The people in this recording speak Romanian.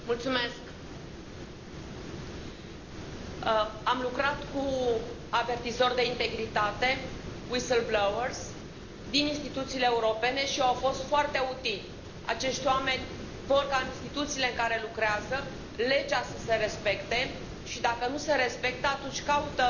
Domnule președinte, am lucrat cu avertizori de integritate, whistleblowers, din instituțiile europene și au fost foarte utili. Acești oameni vor ca, în instituțiile în care lucrează, legea să se respecte și, dacă nu se respectă, atunci caută